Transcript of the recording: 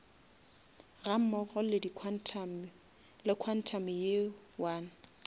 gammogo le quantum ye one